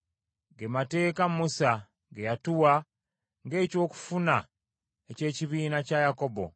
Ge mateeka Musa ge yatuwa ng’ekyokufuna eky’ekibiina kya Yakobo.